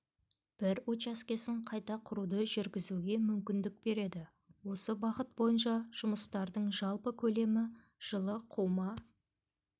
бір учаскесін қайта құруды жүргізуге мүмкіндік береді осы бағыт бойынша жұмыстардың жалпы көлемі жылы қума